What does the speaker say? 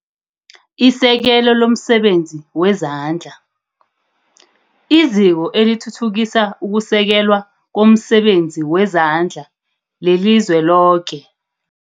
Isekelo lomsebenzi wezandla, IZiko eliThuthukisa ukuSekelwa komSebenzi weZandla leliZweloke.